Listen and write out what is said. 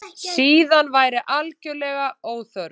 Síðan væri algerlega óþörf